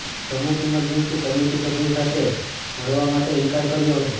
પ્રમુખ emergency committee સભ્યો સાથે મળવા માટે ઇનકાર કર્યો હતો